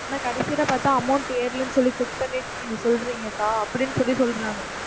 ஆனா கடைசியில பார்த்தா amount ஏறலைன்னு சொல்லி check பண்ணிட்டு நீங்கச் சொல்றீங்கக்கா அப்படின்னு சொல்லிச் சொல்றாங்க.